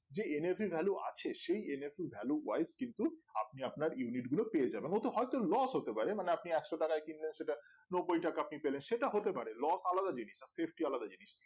যে nav value আছে সেই nav value wife কিন্তু আপনি আপনার unit গুলো পেয়ে যাবেন ওতে হয় তো loss হতে পারে মানে আপনি একশো টাকায় কিনলেন সেটা নব্বই টাকায় পেয়ে গেলেন সেটা হতে পারে loss আলাদা জিনিস আর safety আলাদা জিনিস